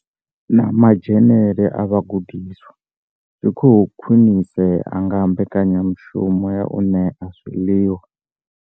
Na madzhenele a vhagudiswa zwi khou khwinisea nga mbekanyamushumo ya u ṋea zwiḽiwa.